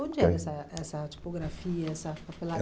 eh... Onde é essa essa tipografia, essa